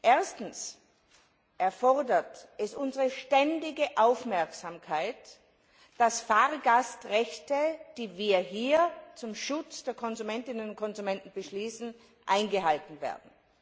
Erstens erfordert es unsere ständige Aufmerksamkeit, dass Fahrgastrechte, die wir hier zum Schutz der Konsumentinnen und Konsumenten beschließen, eingehalten werden.